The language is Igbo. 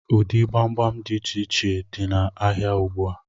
Ụdị gbamgbam dị íchè iche dị na áhiá ùgbúà